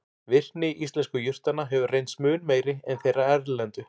Virkni íslensku jurtanna hefur reynst mun meiri en þeirra erlendu.